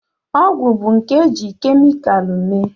Ọgwụ bụ nke e jiri kemikalụ mee